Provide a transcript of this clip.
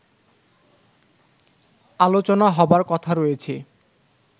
আলোচনা হবার কথা রয়েছে